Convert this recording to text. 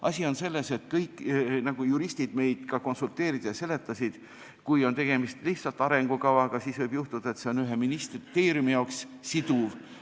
" Asi on selles – nagu juristid meile ka seletasid –, et kui on tegemist lihtsalt arengukavaga, siis võib juhtuda, et see on ühe ministeeriumi jaoks siduv.